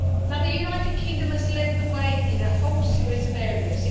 The United Kingdom has led the way in a whole series of areas.